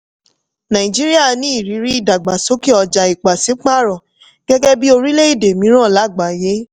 nàìjíríà ní ìrírí ìdàgbàsókè ọjà ipasiparo gẹ́gẹ́ bí orílẹ̀-èdè mìíràn láàgbáyé.